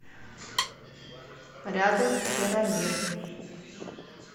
рядом керамир